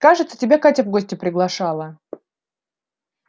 кажется тебя катя в гости приглашала